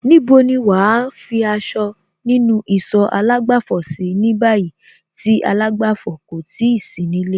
Níbo ni wàá fi aṣọ nínú ìsọ̀ àlágbàfọ̀ sí ní báyìí tí àlágbàfọ̀ kò ti sí nílé?